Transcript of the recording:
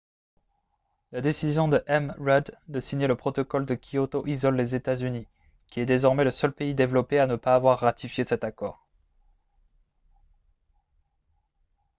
la décision de m rudd de signer le protocole de kyoto isole les états-unis qui est désormais le seul pays développé à ne pas avoir ratifié cet accord